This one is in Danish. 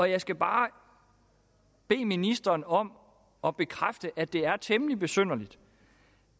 jeg skal bare bede ministeren om at bekræfte at det er temmelig besynderligt